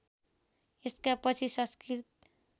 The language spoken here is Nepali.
यसका पछि संस्कृत